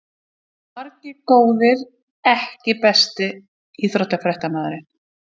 Margir góðir EKKI besti íþróttafréttamaðurinn?